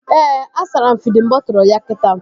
Ee, a sara m fidin bọtụlu ya kita